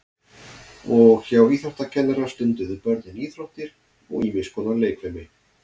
Og hjá íþróttakennara stunduðu börnin íþróttir og ýmis konar leikfimi.